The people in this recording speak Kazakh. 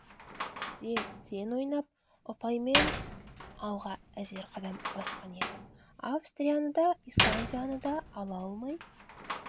де тең ойнап ұпаймен алға әзер қадам басқан еді австрияны да исландияны да ала алмай